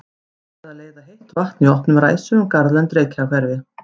Byrjað að leiða heitt vatn í opnum ræsum um garðlönd í Reykjahverfi.